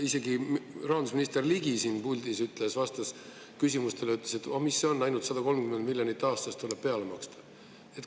Isegi rahandusminister Ligi siin puldis ütles, vastas küsimustele, ütles, et mis see on, ainult 130 miljonit aastas tuleb peale maksta.